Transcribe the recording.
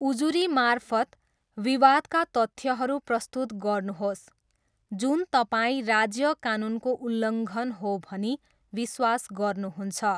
उजुरीमार्फत, विवादका तथ्यहरू प्रस्तुत गर्नुहोस्, जुन तपाईँ राज्य कानुनको उल्लङ्घन हो भनी विश्वास गर्नुहुन्छ।